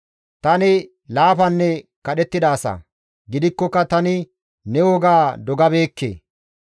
Tani laafanne kadhettida asa; gidikkoka tani ne woga dogabeekke.